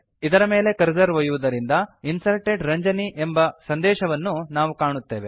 ಇದರ ಮೇಲೆ ಕರ್ಸರ್ ಒಯ್ಯುವುದರಿಂದ Inserted ರಂಜನಿ ಎಂಬ ಸಂದೇಶವನ್ನು ನಾವು ಕಾಣುತ್ತೇವೆ